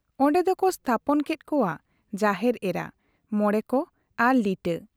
ᱚᱱᱰᱮ ᱫᱚᱠᱚ ᱛᱦᱟᱯᱚᱱ ᱠᱮᱫ ᱠᱚᱣᱟ ᱡᱟᱦᱮᱨ ᱮᱨᱟ, ᱢᱚᱬᱮ ᱠᱚ ᱟᱨ ᱞᱤᱴᱟᱹ ᱾